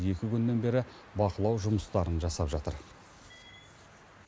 екі күннен бері бақылау жұмыстарын жасап жатыр